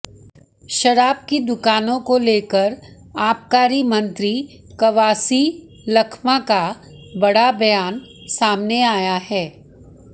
शराब की दुकानों को लेकर आबकारी मंत्री कवासी लखमा का बड़ा बयान सामने आया है